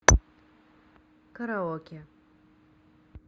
караоке